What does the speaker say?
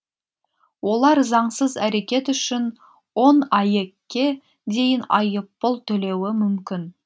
олар заңсыз әрекет үшін он аек ке дейін айыппұл төлеуі мүмкін